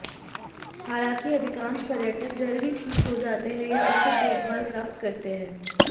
हालांकि अधिकांश पर्यटक जल्द ही ठीक हो जाते हैं या उचित देखभाल प्राप्त करते हैं